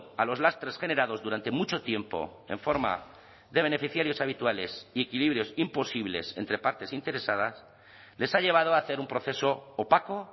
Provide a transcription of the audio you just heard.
a los lastres generados durante mucho tiempo en forma de beneficiarios habituales y equilibrios imposibles entre partes interesadas les ha llevado a hacer un proceso opaco